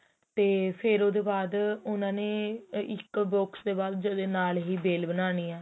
ਤੇ ਫ਼ੇਰ ਉਹਦੇ ਬਾਅਦ ਉਹਨਾ ਨੇ ਇੱਕ box ਦੇ ਬਾਅਦ ਉਹਦੇ ਨਾਲ ਹੀ bail ਬਣਾਉਣੀ ਏਹ